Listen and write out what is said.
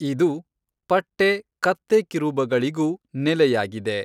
ಇದು ಪಟ್ಟೆ ಕತ್ತೆಕಿರುಬಗಳಿಗೂ ನೆಲೆಯಾಗಿದೆ.